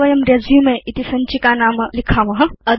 अथ वयं रेसुमे इति सञ्चिकानाम लिखेम